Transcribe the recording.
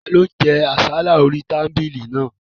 Ta ni ó jẹ àsálà orí tábìlì náà?